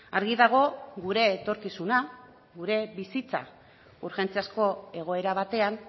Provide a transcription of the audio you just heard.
argi dago gure etorkizuna gure bizitza urgentziazko egoera batean